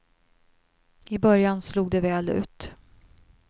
I början slog det väl ut.